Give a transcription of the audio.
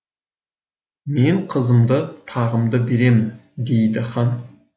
мен қызымды тағымды беремін дейді хан